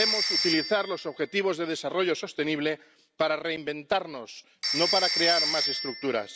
Debemos utilizar los objetivos de desarrollo sostenible para reinventarnos, no para crear más estructuras.